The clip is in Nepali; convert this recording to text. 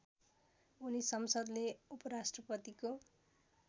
उनी संसदले उपराष्ट्रपतिको